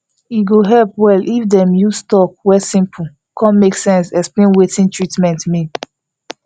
e go help well if dem dey use talk wey simple cun make sense explain wetin treatment mean